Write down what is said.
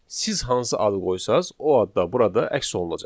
Siz hansı adı qoysanız, o adda burada əks olunacaq.